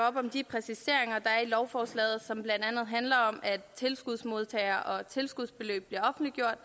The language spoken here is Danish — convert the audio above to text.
om de præciseringer der er i lovforslaget og som blandt andet handler om at tilskudsmodtagere og tilskudsbeløb bliver offentliggjort